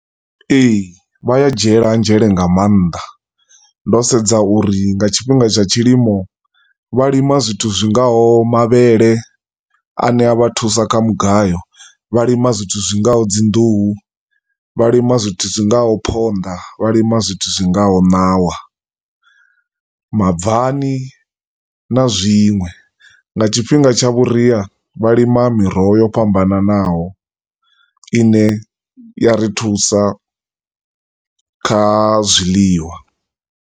Ee, vha a dzhiela nzhele nga maanḓa, ndo sedza uri nga tshifhinga tsha tshilimo, vha lima zwithu zwingaho mavhele ane a vha thusa kha mugayo, vha lima zwithu zwingaho dzinḓuhu, vha lima zwithu zwingaho ponḓa, vha lima zwithu zwingaho ṋawa, mabvani na zwinwe. Nga tshifhinga tsha vhuria vha lima miroho ya fhambananaho ine ya ri thusa kha zwiḽiwa.